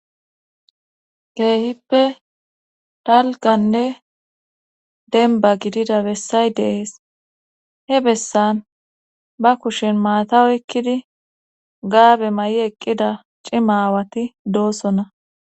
keehippe talkanne denba gidida bessay deees he bessan ba kushen maata oykkidi gaabe may7i eqqida cimaawati doossonna